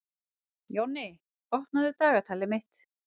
Jonni, opnaðu dagatalið mitt.